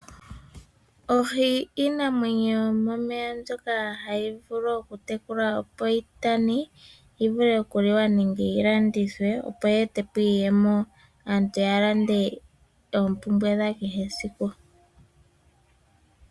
Oohi odho iinamwenyo yomomeya mbyoka hayi vulu okutekulwa opo yitane, yivule okuliwa nenge yi landithwe, opo yeete po iiyemo, aantu yalande oompumbwe dhawo dhesiku kehe.